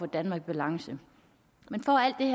danmark i balance men for